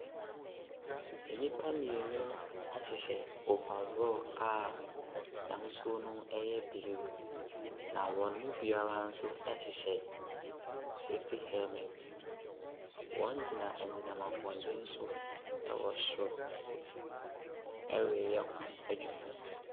Nnipa mmienu ɛhyehyɛ overall a n’ahosuo no ɛyɛ blue, na wɔn mu biara nso ɛhyehyɛ safety helmet. Wɔgyina enyinam ahoɔden so ɛwɔ soro ɛreyɛ adwuma.